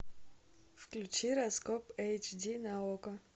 включи раскоп эйч ди на окко